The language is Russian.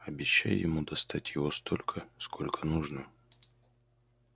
обещай ему достать его столько сколько нужно